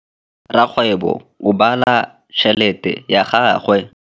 Rakgwêbô o bala tšheletê ya gagwe.